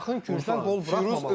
Yaxın küncdən qol buraxmamaq.